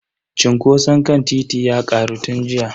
Cunkoson kan titin ya karu tun jiya.